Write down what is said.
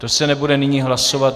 To se nebude nyní hlasovat.